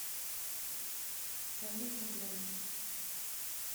салют на грани